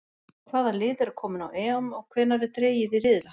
Hvaða lið eru komin á EM og hvenær er dregið í riðla?